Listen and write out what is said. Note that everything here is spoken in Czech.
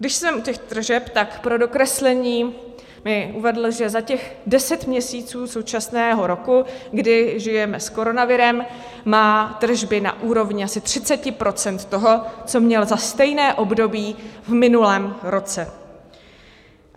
Když jsem u těch tržeb, tak pro dokreslení mi uvedl, že za těch deset měsíců současného roku, kdy žijeme s koronavirem, má tržby na úrovni asi 30 % toho, co měl za stejné období v minulém roce.